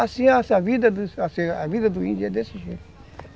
Assim, a vida do índio é desse jeito.